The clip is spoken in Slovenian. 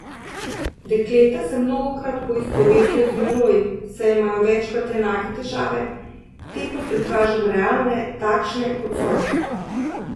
Dekleta se mnogokrat poistovetijo z menoj, saj imajo večkrat enake težave, te pa prikažem realne, takšne, kot so.